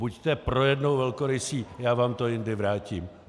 Buďte pro jednou velkorysý, já vám to jindy vrátím.